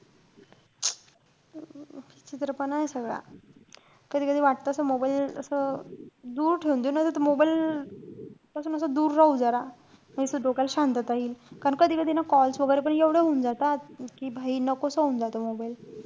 विचित्रपणाय सगळा. कधी-कधी वाटत असं mobile असं दूर ठेऊन देऊ नई त ते mobile असं दूर राहू जरा. काई त डोक्याला शांतता येईल. कारण कधी-कधी ना calls वैगेरे पण एवढे होऊन जातात. कि नकोसं होऊन जातो mobile